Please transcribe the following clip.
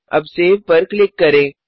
अब सेव पर क्लिक करें